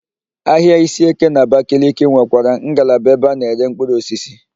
Ahịa Isieke n'Abakaliki nwekwara ngalaba ebe a na-ere mkpụrụosisi.